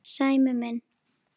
Sæmi minn.